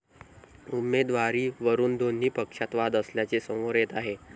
उमेदवारीवरून दोन्ही पक्षांत वाद असल्याचे समोर येत आहे.